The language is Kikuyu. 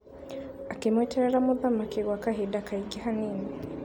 Akĩmweterera mũthamaki gwa kahinda kaingĩ hanini.